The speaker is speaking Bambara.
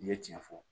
N ye tiɲɛ fɔ